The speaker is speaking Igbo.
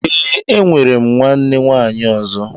Ee, enwere m nwanne nwaanyị ọzọ